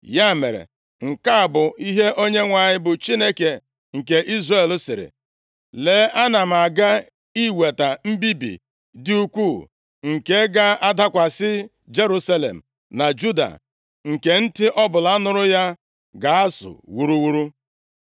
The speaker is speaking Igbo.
Ya mere, nke a bụ ihe Onyenwe anyị, bụ Chineke nke Izrel, sịrị: Lee, ana m aga iweta mbibi dị ukwuu nke ga-adakwasị Jerusalem na Juda, nke ntị ọbụla nụrụ ya ga-azụ wuruwuru.